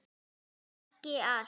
Þó ekki allt.